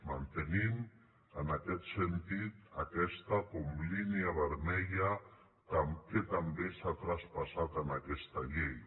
mantenim en aquest sentit aquesta com a línia vermella que també s’ha traspassat en aquesta llei